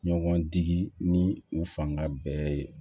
Ɲɔgɔn digi ni u fanga bɛɛ ye